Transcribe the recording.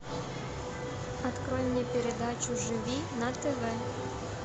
открой мне передачу живи на тв